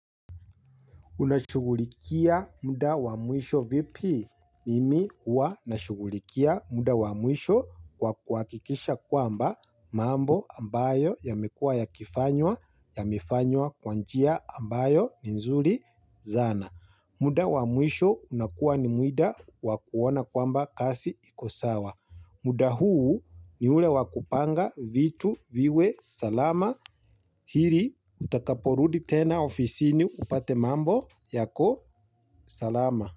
Unashugulikia muda wa mwisho vipi? Mimi huwa nashugulikia muda wa mwisho kwa kuhakikisha kwamba mambo ambayo yamekua yakifanywa yamefanywa kwa njia ambayo ni nzuri sana. Muda wa mwisho unakuwa ni muda wakuona kwamba kazi ikosawa. Muda huu ni ule wa kupanga vitu viwe salama. Ili utakaporudi tena ofisini upate mambo yako salama.